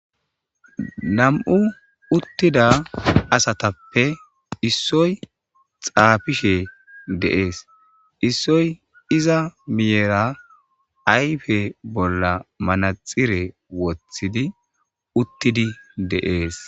Nam'u utida asatappe issoy xafishe de'es. Issoy iza milera ayfe bolla manaxire wothid utid de'es.